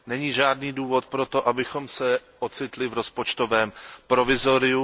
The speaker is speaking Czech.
Není žádný důvod proto, abychom se ocitli v rozpočtovém provizoriu.